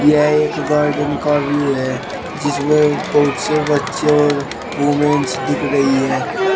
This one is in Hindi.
यह एक गार्डन का व्यू है जिसमें बहुत से बच्चे और विमेंस दिख रही है।